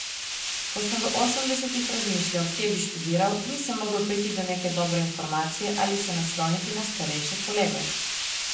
Ko sem v osemdesetih razmišljal, kje bi študiral, nisem mogel priti do neke dobre informacije ali se nasloniti na starejše kolege.